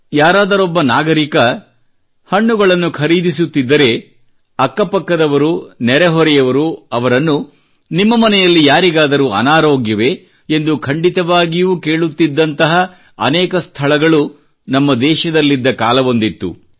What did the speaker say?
ಯಾರಾದರೊಬ್ಬ ನಾಗರಿಕ ಹಣ್ಣುಗಳನ್ನು ಖರೀದಿಸುತ್ತಿದ್ದರೆ ಅಕ್ಕ ಪಕ್ಕದವರು ನೆರೆಹೊರೆಯವರು ಅವರನ್ನು ನಿಮ್ಮ ಮನೆಯಲ್ಲಿ ಯಾರಿಗಾದರೂ ಅನಾರೋಗ್ಯವೇ ಎಂದು ಖಂಡಿತವಾಗಿಯೂ ಕೇಳುತ್ತಿದ್ದಂತಹ ಅನೇಕ ಸ್ಥಳಗಳು ನಮ್ಮ ದೇಶದಲ್ಲಿದ್ದ ಕಾಲವೊಂದಿತ್ತು